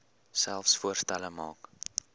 selfs voorstelle maak